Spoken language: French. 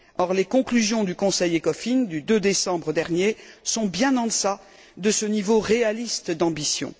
Or, les conclusions du Conseil ECOFIN du 2 décembre dernier sont bien en deçà de ce niveau réaliste d'ambition.